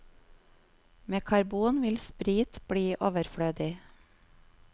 Med karbon vil sprit bli overflødig.